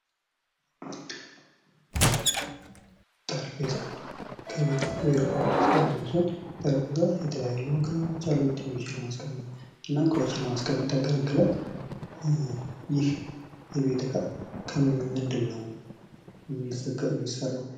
ጠረጴዛ ከቤትና ከቢሮ እቃዎች ውስጥ አንደኛው ሲሆን ጠረጴዛ የተለያዩ አገልግሎቶች አሉት የተለያዩ ቴሌቪዥኖችን ለማስቀመጥ ያገለግላል። ይህ የቤት እቃ ከምንድነው የሚሠራው?